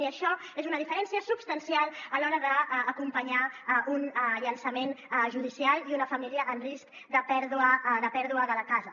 i això és una diferència substancial a l’hora d’acompa·nyar un llançament judicial i una família en risc de pèrdua de la casa